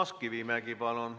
Toomas Kivimägi, palun!